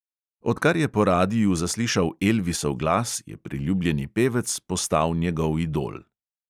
Odkar je po radiu zaslišal elvisov glas, je priljubljeni pevec postal njegov idol.